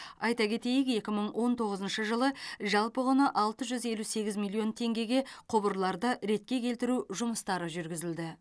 айта кетейік екі мың он тоғызыншы жылы жалпы құны алты жүз елу сегіз миллион теңгеге құбырларды ретке келтіру жұмыстары жүргізілді